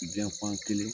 Janfan kelen